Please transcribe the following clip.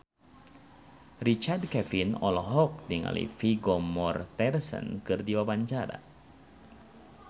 Richard Kevin olohok ningali Vigo Mortensen keur diwawancara